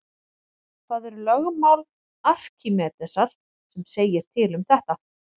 Það er lögmál Arkímedesar sem segir til um þetta.